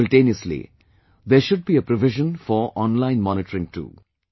Simultaneously, there should be a provision for online monitoring too